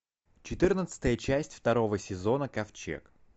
четырнадцатая часть второго сезона ковчег